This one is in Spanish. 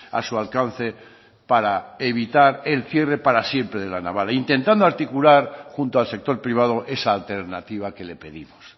a su alcance para evitar el cierre para siempre de la naval e intentando articular junto al sector privado esa alternativa que le pedimos